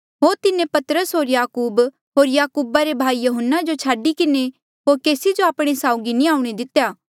होर तिन्हें पतरस होर याकूब होर याकूबा रे भाई यहून्ना जो छाडी किन्हें होर केसी जो आपणे साउगी नी आऊणें दितेया